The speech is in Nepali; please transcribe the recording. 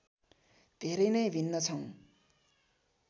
धेरै नै भिन्न छौँ